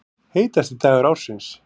Heitasti dagur ársins